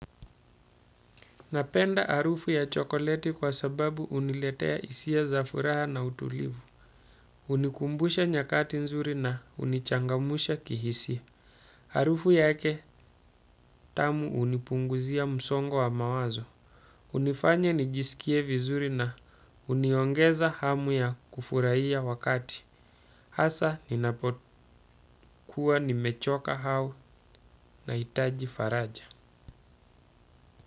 Napenda harufu ya chokoleti kwa sababu huniletea hisia za furaha na utulivu. Hunikumbusha nyakati nzuri na hunichangamsha kihisia. Harufu yake tamu hunipunguzia msongo wa mawazo. Hunifanya nijisikie vizuri na huniongeza hamu ya kufurahia wakati. Hasa ninapokuwa nimechoka hao na hitaji faraja.